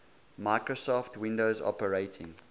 microsoft windows operating